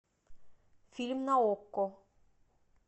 фильм на окко